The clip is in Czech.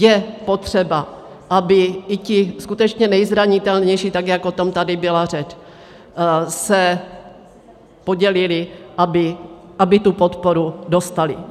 Je potřeba, aby i ti skutečně nejzranitelnější, tak jak o tom tady byla řeč, se podělili, aby tu podporu dostali.